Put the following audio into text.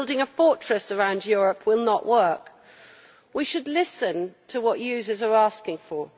Building a fortress around Europe will not work. We should listen to what users are asking for.